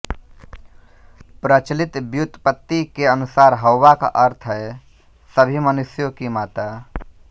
प्रचलित व्युत्पत्ति के अनुसार हौवा का अर्थ है सभी मनुष्यों की माता